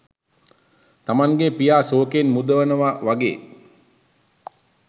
තමන්ගේ පියා සෝකයෙන් මුදවනවා වගේ්